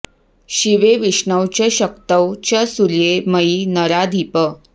शिवे विष्णौ च शक्तौ च सूर्ये मयि नराधिप